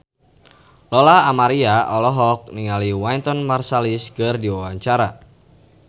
Lola Amaria olohok ningali Wynton Marsalis keur diwawancara